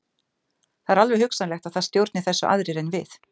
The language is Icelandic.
Það er alveg hugsanlegt að það stjórni þessu aðrir en við.